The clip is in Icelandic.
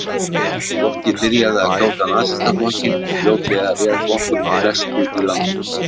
Fólkið byrjaði að kjósa Nasistaflokkinn og fljótlega réð flokkurinn flestu í landinu.